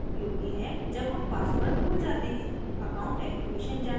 security question उपयोगी है जब हम password भूल जाते हैं